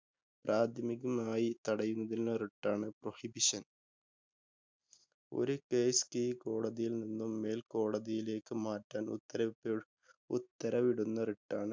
പ്രാഥമികമായി തടയുന്നതിനുള്ള writ ആണ് Prohibition. ഒരു കേസ് കീഴ്കോടതിയിൽ നിന്നും മേൽകോടതിയിലേക്ക് മാറ്റാന്‍ ഉത്തരവി ഉത്തരവിടുന്ന writ ആണ്